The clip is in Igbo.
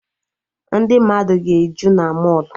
Ndị mmadụ ga-eju na mọlụ